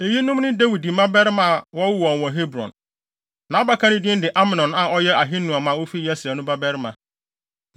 Eyinom ne Dawid mmabarima a wɔwoo wɔn wɔ Hebron: Nʼabakan no din de Amnon a ɔyɛ Ahinoam a ofi Yesreel no babarima.